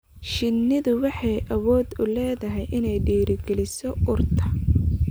Shinnidu waxay awood u leedahay inay dhiirigeliso urta.